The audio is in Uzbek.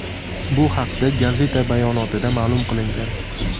Bu haqda gazeta bayonotida ma’lum qilingan .